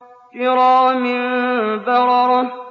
كِرَامٍ بَرَرَةٍ